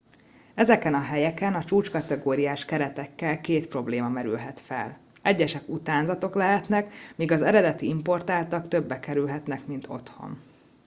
ezeken a helyeken a csúcskategóriás keretekkel két probléma merülhet fel egyesek utánzatok lehetnek míg az eredeti importáltak többe kerülhetnek mint otthon